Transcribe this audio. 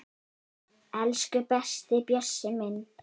Elsku besti Bjössi minn.